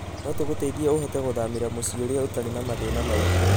No tũgũteithie ũhote gũthamĩra mũciĩ ũrĩa ũtarĩ na mathĩna maingĩ.